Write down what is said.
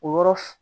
O yɔrɔ f